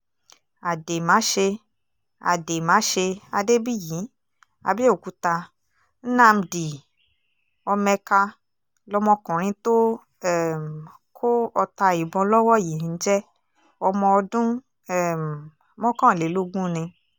àdèmáṣe àdèmáṣe adébíyí àbẹ̀òkúta nnamdi ọmẹ́kà lọmọkùnrin tó um kọ ọta ìbọn lọ́wọ́ yìí ń jẹ́ ọmọ ọdún um mọ́kànlélógún ni